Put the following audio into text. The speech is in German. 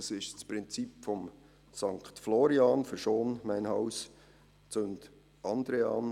Das ist das Prinzip des Sankt Florian: Verschont mein Haus, zündet andere Häuser an.